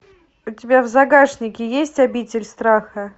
у тебя в загашнике есть обитель страха